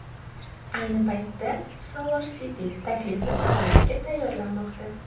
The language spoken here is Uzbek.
Ayni paytda SolarCity taklifni baholashga tayyorlanmoqda.